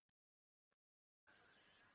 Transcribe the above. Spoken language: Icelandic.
Lillý Valgerður Pétursdóttir: Þú hjálpar þeim?